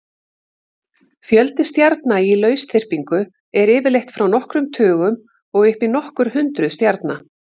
Fjöldi stjarna í lausþyrpingu er yfirleitt frá nokkrum tugum og upp í nokkur hundruð stjarna.